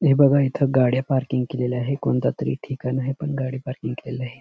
हे बघा इथ गाड्या पार्किंग केलेल्या आहे कोणत तरी ठिकाण आहे पण गाडी पार्किंग केलेल आहे.